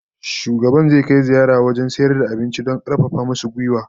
Shugaban zai kai ziyara wajen sayar da abincin don karfafa musu gwiwa